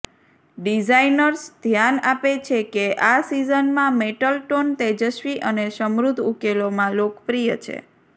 designers ધ્યાન આપે છે કે આ સિઝનમાં મેટલ ટોન તેજસ્વી અને સમૃદ્ધ ઉકેલોમાં લોકપ્રિય છે